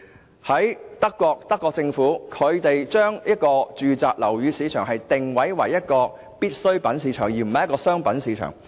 舉例而言，德國政府把住宅樓宇定位為必需品市場，而不是商品市場。